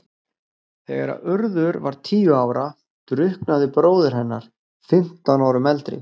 Þegar Urður var tíu ára drukknaði bróðir hennar, fimmtán árum eldri.